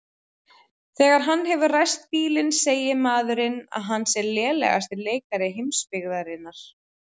Þegar hann hefur ræst bílinn segir maðurinn að hann sé lélegasti leikari heimsbyggðarinnar.